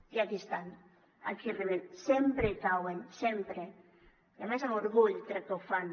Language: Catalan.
i aquí estan aquí arriben sempre hi cauen sempre i a més amb orgull crec que ho fan